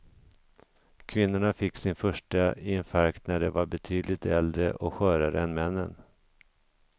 Kvinnorna fick sin första infarkt när de var betydligt äldre och skörare än männen.